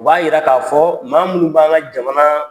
U b'a yira k'a fɔ maa munun b'an ka jamana